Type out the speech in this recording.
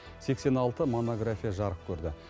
сексен алты монография жарық көрді